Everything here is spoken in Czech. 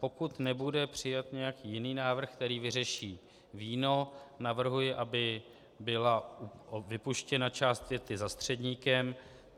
Pokud nebude přijat nějaký jiný návrh, který vyřeší víno, navrhuji, aby byla vypuštěna část věty za středníkem.